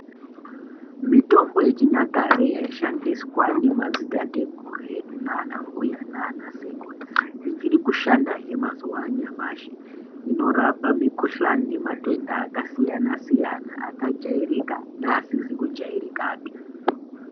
Mitombo yechinyakare yaishandiswa nemadzitateguru edu naanambuya naanasekuru, ichiri kushandahe mazuwa anyamashi. Inorapa mikhuhlani nematenda akasiyana-siyana , akajairika neasizi kujairikapi.